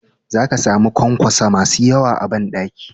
Za ka samu ƙwanƙwaso masu yawa a banɗaki.